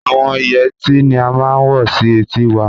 Àwọn Ìyetí ni à màá n wọ̀ sí ètì wà.